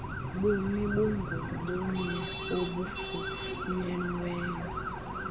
bumi bungobunye obufunyenweyo